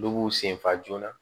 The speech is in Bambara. Dɔw b'u sen fa joona